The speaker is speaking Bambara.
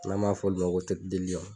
N'an b'a fɔ olu ma ko